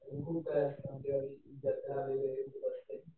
जत्रा वगैरे खूप असते.